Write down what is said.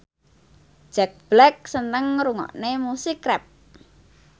Jack Black seneng ngrungokne musik rap